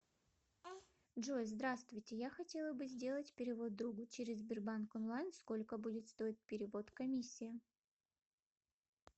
джой здравствуйте я хотела бы сделать перевод другу через сбербанк онлайн сколько будет стоить перевод комиссия